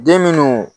Den minnu